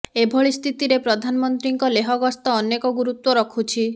ଏଭଳି ସ୍ଥିତିରେ ପ୍ରଧାନମନ୍ତ୍ରୀଙ୍କ ଲେହ ଗସ୍ତ ଅନେକ ଗୁରୁତ୍ୱ ରଖୁଛି